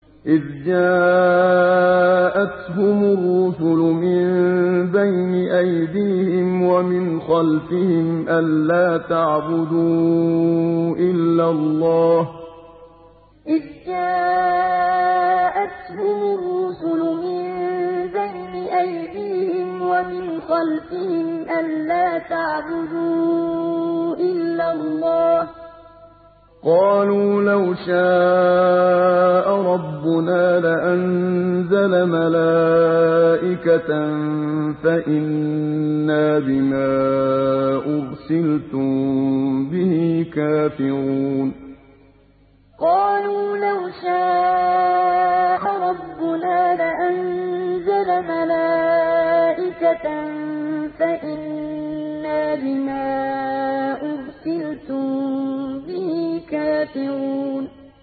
إِذْ جَاءَتْهُمُ الرُّسُلُ مِن بَيْنِ أَيْدِيهِمْ وَمِنْ خَلْفِهِمْ أَلَّا تَعْبُدُوا إِلَّا اللَّهَ ۖ قَالُوا لَوْ شَاءَ رَبُّنَا لَأَنزَلَ مَلَائِكَةً فَإِنَّا بِمَا أُرْسِلْتُم بِهِ كَافِرُونَ إِذْ جَاءَتْهُمُ الرُّسُلُ مِن بَيْنِ أَيْدِيهِمْ وَمِنْ خَلْفِهِمْ أَلَّا تَعْبُدُوا إِلَّا اللَّهَ ۖ قَالُوا لَوْ شَاءَ رَبُّنَا لَأَنزَلَ مَلَائِكَةً فَإِنَّا بِمَا أُرْسِلْتُم بِهِ كَافِرُونَ